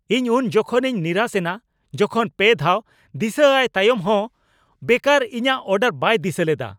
ᱤᱧ ᱩᱱᱡᱚᱠᱷᱮᱱᱤᱧ ᱱᱤᱨᱟᱥᱮᱱᱟ ᱡᱚᱠᱷᱚᱱ ᱓ ᱫᱷᱟᱣ ᱫᱤᱥᱟᱹ ᱟᱭ ᱛᱟᱭᱚᱢ ᱦᱚᱱ ᱵᱮᱠᱟᱨ ᱤᱧᱟᱹᱜ ᱚᱰᱟᱨ ᱵᱟᱭ ᱫᱤᱥᱟᱹ ᱞᱮᱫᱟ ᱾